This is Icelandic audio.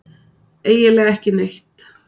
Eiginlega ekki neitt.